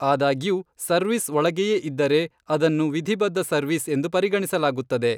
ಆದಾಗ್ಯೂ, ಸರ್ವೀಸ್ ಒಳಗೆಯೇ ಇದ್ದರೆ ಅದನ್ನು ವಿಧಿಬದ್ಧ ಸರ್ವೀಸ್ ಎಂದು ಪರಿಗಣಿಸಲಾಗುತ್ತದೆ.